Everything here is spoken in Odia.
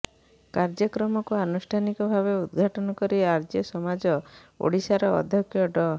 କାର୍ଯ୍ୟକ୍ରମକୁ ଆନୁଷ୍ଠାନିକ ଭାବେ ଉଦ୍ଘାଟନ କରି ଆର୍ଯ୍ୟ ସମାଜ ଓଡିଶାର ଅଧ୍ୟକ୍ଷ ଡ